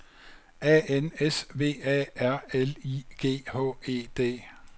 A N S V A R L I G H E D